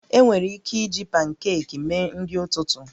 Enwere ike iji pankeekimee nri ụtụtụ